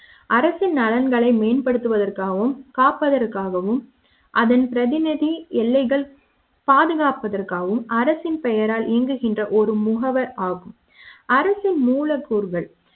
அரசின் நலன்களை மேம்படுத்துவதற்காகவும் காப்பதற்காகவும் அதன் பிரதிநிதி எல்லைகள் பாதுகாப்பதற்காக வும் அரசின் பெயரால் இயங்குகின்ற ஒரு முகவர் ஆகும் அரசின் மூலக்கூறுகள்